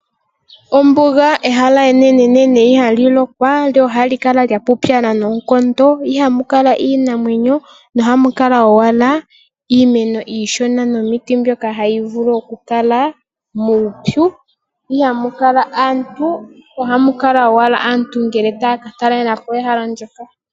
Ombuga ehala enene ihali lokwa lyo ohali kala lya pupyala noonkondo. Ihamu kala iinamwenyo ohamu kala owala iimeno iishona nomiti mbyoka hayi vulu okukala muupyu. Ihamu kala aantu ohamu kala owala aantu ngele taya ka talelapo ehala ndoka.